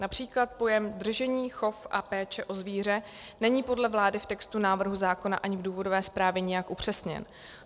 Například pojem "držení, chov a péče o zvíře" není podle vlády v textu návrhu zákona ani v důvodové zprávě nijak upřesněn.